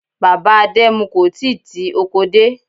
Bàbá Adẹmu kò tíì ti oko dé.